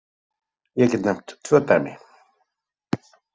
Ég get nefnt tvö dæmi.